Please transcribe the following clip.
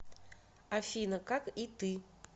афина как и ты